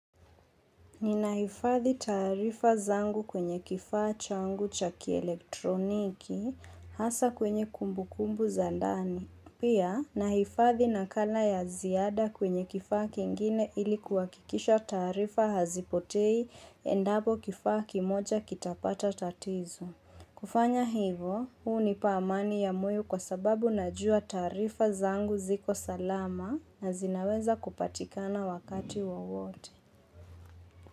Ninahifadhi taarifa zangu kwenye kifaa changu cha kielektroniki hasa kwenye kumbu kumbu za ndani. Pia, na hifadhi nakala ya ziada kwenye kifaa kingine ili kuhakikisha taarifa hazipotei endapo kifaa kimoja kitapata tatizo. Kufanya hivyo, hunipa amani ya moyo kwa sababu najua taarifa zangu ziko salama na zinaweza kupatikana wakati wowote.